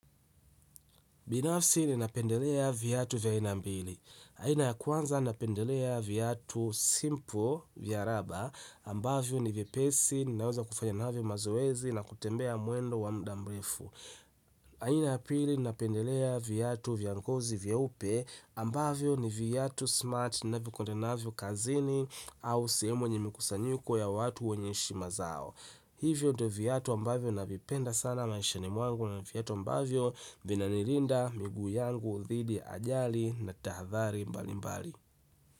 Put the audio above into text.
Binafsi ninapendelea viatu vya aina mbili. Aina ya kwanza napendelea viatu simple vya raba, ambavyo ni vyepesi, ninaweza kufanya navyo mazoezi na kutembea mwendo wa muda mrefu. Aina ya pili napendelea viatu vya ngozi vyeupe, ambavyo ni viatu smart, ninavyokwenda navyo kazini, au sehemu yenye mikusanyiko ya watu wenye heshima zao. Hivo ndo viatu ambavyo navipenda sana maishani mwangu na viatu ambavyo vinanilinda, miguu yangu, dhidi, ya ajali na tahathari mbali mbali.